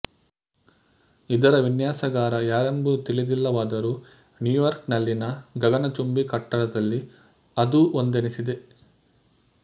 ಇದರ ವಿನ್ಯಾಸಗಾರ ಯಾರೆಂಬುದು ತಿಳಿದಿಲ್ಲವಾದರೂ ನ್ಯುಯಾರ್ಕ್ ನಲ್ಲಿನ ಗಗನ ಚುಂಬಿ ಕಟ್ಟಡದಲ್ಲಿ ಅದೂ ಒಂದೆನಿಸಿದೆ